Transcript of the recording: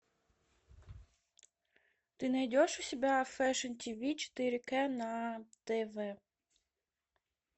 ты найдешь у себя фэшн тв четыре к на тв